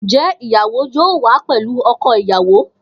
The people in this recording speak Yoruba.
Njẹ ìyàwó yóò wà pẹlú ọkọ ìyàwó?